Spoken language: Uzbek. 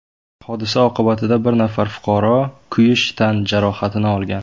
Hodisa oqibatida bir nafar fuqaro kuyish tan jarohatini olgan.